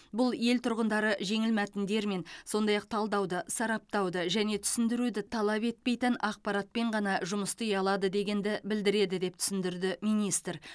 бұл ел тұрғындары жеңіл мәтіндермен сондай ақ талдауды сараптауды және түсіндіруді талап етпейтін ақпаратпен ғана жұмыс істей алады дегенді білдіреді деп түсіндірді министр